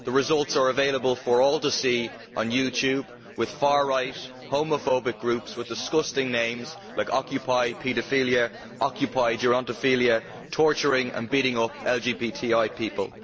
The results are available for all to see on YouTube, with far right homophobic groups with disgusting names like occupy paedophilia' and occupy gerontophilia', torturing and beating up LGBTI people.